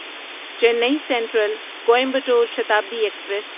چینی central Coimbatore Shatabdi express